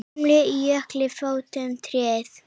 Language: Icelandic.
Glámu á jökli fótum treð.